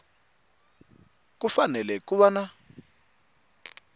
ku fanele ku va na